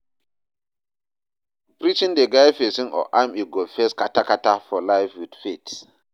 Preaching dey guide pesin on how im go face kata-kata for life with faith.